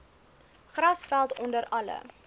grasveld onder alle